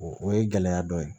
O ye gɛlɛya dɔ ye